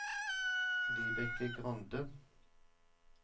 Vibeke Grande